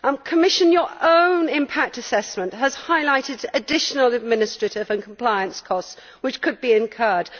Commissioner, your own impact assessment has highlighted additional administrative and compliance costs which could be incurred.